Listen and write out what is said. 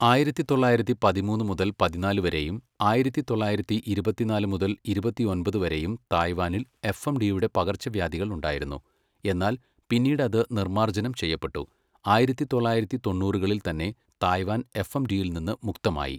ആയിരത്തി തൊള്ളായിരത്തി പതിമൂന്ന് മുതൽ പതിനാല് വരെയും ആയിരത്തി തൊള്ളായിരത്തി ഇരുപത്തിനാല് മുതൽ ഇരുപത്തിയൊൻപത് വരെയും തായ്വാനിൽ എഫ്എംഡിയുടെ പകർച്ചവ്യാധികൾ ഉണ്ടായിരുന്നു, എന്നാൽ പിന്നീട് അത് നിർമാർജനം ചെയ്യപ്പെട്ടു, ആയിരത്തി തൊള്ളായിരത്തി തൊണ്ണൂറുകളിൽ തന്നെ തായ്വാൻ എഫ്എംഡിയിൽ നിന്ന് മുക്തമായി.